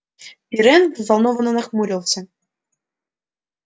пиренн взволнованно нахмурился